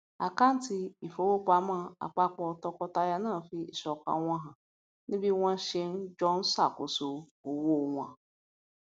àkántì ìfowópamọ àpapọ tọkọtaya náà fi ìsọkan wọn han ní bí wọn ṣe ń jọ ṣàkóso owó wọn